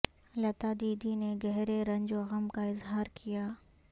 لتا دیدی نے گہرے رنج وغم کا اظہار کیا